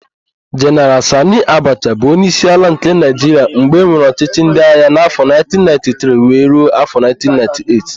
Jeneral Sanị Abacha bụ onyeisi ala nke Naịjiria mgbe enwere ọchịchị ndịagha n'afọ 1993 wee ruo afọ 1998.